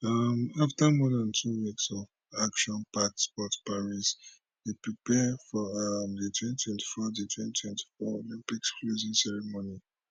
um afta more dan two weeks of actionpacked sport paris dey prepare for um di 2024 di 2024 olympics closing ceremony